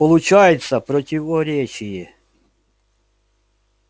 получается противоречие